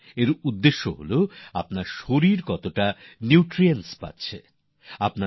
এর অর্থ হল আপনার শরীর কতটা প্রয়োজনীয় পুষ্টিকর পদার্থ পাচ্ছে নিউট্রিয়েন্ট পাচ্ছে